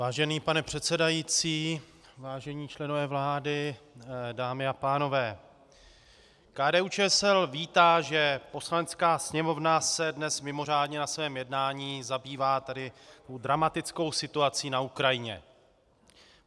Vážený pane předsedající, vážení členové vlády, dámy a pánové, KDU-ČSL vítá, že Poslanecká sněmovna se dnes mimořádně na svém jednání zabývá tou dramatickou situací na Ukrajině.